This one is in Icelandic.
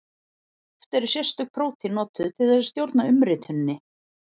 Oft eru sérstök prótín notuð til þess að stjórna umrituninni.